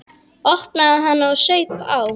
Opnaði hana og saup á.